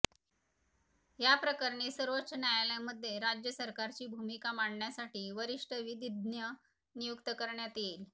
या प्रकरणी सर्वोच्च न्यायालयामध्ये राज्य सरकारची भूमिका मांडण्यासाठी वरिष्ठ विधिज्ञ नियुक्त करण्यात येईल